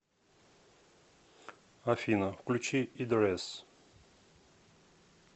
афина включи идрэс